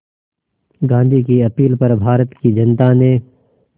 गांधी की अपील पर भारत की जनता ने